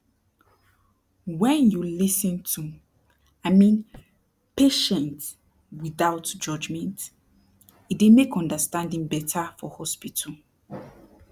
wen you lis ten to i mean patient without judgement e dey make understanding beta for hospital